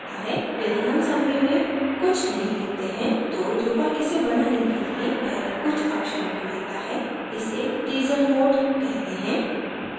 यदि हम summary में कुछ नहीं लिखते हैं तो drupal इसे बनाने के लिए पहले कुछ अक्षरों को लेता है इसे teaser mode कहते हैं